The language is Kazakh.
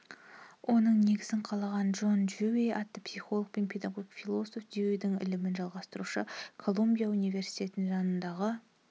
оның негізін қалаған джон дьюи атты психолог және педагог философ дьюидің ілімін жалғастырушы колумбия университетінің жанындағы